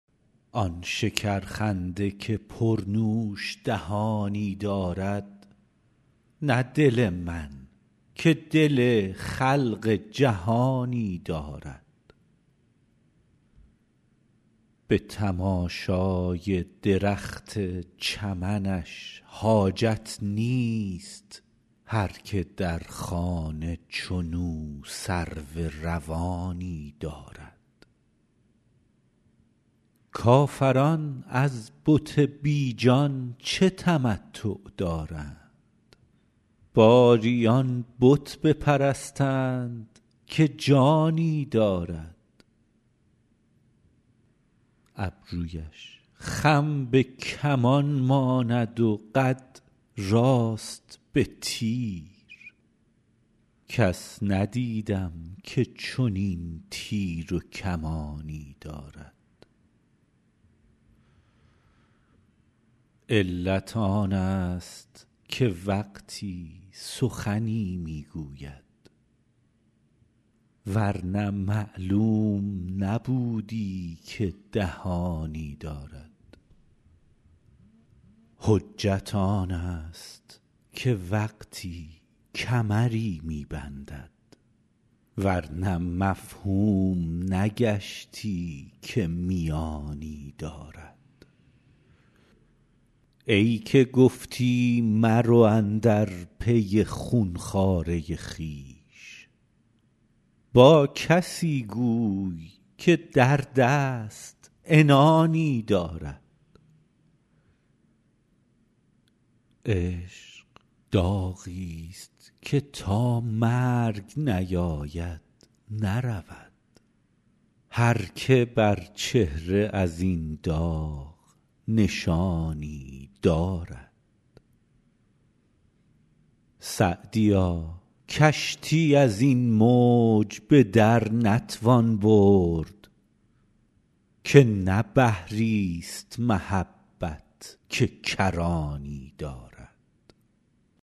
آن شکرخنده که پرنوش دهانی دارد نه دل من که دل خلق جهانی دارد به تماشای درخت چمنش حاجت نیست هر که در خانه چنو سرو روانی دارد کافران از بت بی جان چه تمتع دارند باری آن بت بپرستند که جانی دارد ابرویش خم به کمان ماند و قد راست به تیر کس ندیدم که چنین تیر و کمانی دارد علت آنست که وقتی سخنی می گوید ور نه معلوم نبودی که دهانی دارد حجت آنست که وقتی کمری می بندد ور نه مفهوم نگشتی که میانی دارد ای که گفتی مرو اندر پی خون خواره خویش با کسی گوی که در دست عنانی دارد عشق داغیست که تا مرگ نیاید نرود هر که بر چهره از این داغ نشانی دارد سعدیا کشتی از این موج به در نتوان برد که نه بحریست محبت که کرانی دارد